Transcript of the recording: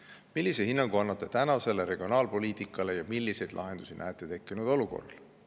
Millise hinnangu annate tänasele regionaalpoliitikale ja milliseid lahendusi näete tekkinud olukorrale?